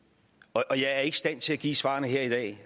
og jeg er ikke i stand til at give svarene her i dag